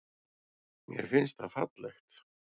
Mér finnst það fallegt.